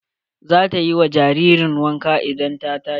Zata yi wa jaririn wanka idan ta tashi.